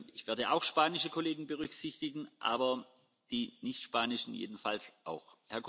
Ich werde auch spanische Kollegen berücksichtigen, aber die nichtspanischen jedenfalls auch.